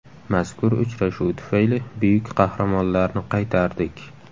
Mazkur uchrashuv tufayli buyuk qahramonlarni qaytardik.